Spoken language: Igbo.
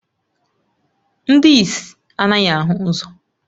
Ndị ìsì anaghị ahụ ụzọ